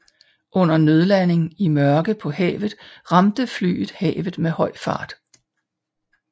Under nødlanding i mørke på havet ramte flyet havet med høj fart